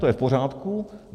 To je v pořádku.